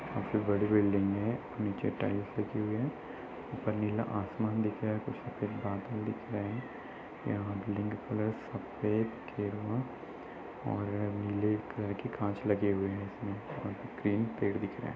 सबसे बड़ी बिल्डिंग है। नीचे टाईल्स लगी हुई है। ऊपर नीला आसमान दिख रहा है। कुछ सफ़ेद बादल दिख रहे हैं। यहाँ बिल्डिंग का कलर सफ़ेद गेरुआ और नीले कलर के कांच लगे हुए हैं इसमें और ग्रीन पेड़ दिख रहे हैं।